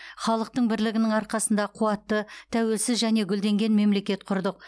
халықтың бірлігінің арқасында қуатты тәуелсіз және гүлденген мемлекет құрдық